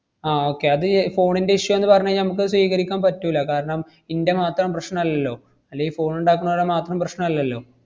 ആഹ് okay അത് ഏർ phone ന്‍റെ issue ആന്ന് പറഞ്ഞു കഴിഞ്ഞാ മ്മക്കത് സ്വീകരിക്കാൻ പറ്റൂല്ല. കാരണം ഇന്‍റെ മാത്രം പ്രശ്നല്ലല്ലോ, അല്ലെങ്കി phone ഇണ്ടാക്കണവരുടെ മാത്രം പ്രശ്നല്ലല്ലോ.